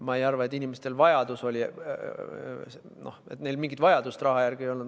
Ma ei arva, et inimestel mingit vajadust raha järele ei olnud.